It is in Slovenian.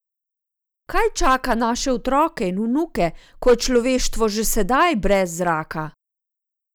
Kaj čaka naše otroke in vnuke, ko je človeštvo že sedaj brez zraka?